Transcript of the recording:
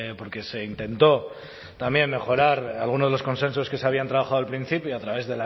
porque se intentó también mejorar alguno de los consensos que se habían trabajado al principio a través